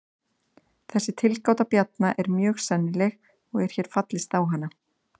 Þessi tilgáta Bjarna er mjög sennileg og er hér fallist á hana.